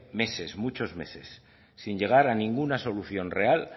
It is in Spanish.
meses muchos meses sin llegar a ninguna solución real